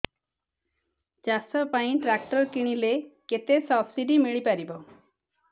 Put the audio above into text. ଚାଷ ପାଇଁ ଟ୍ରାକ୍ଟର କିଣିଲେ କେତେ ସବ୍ସିଡି ମିଳିପାରିବ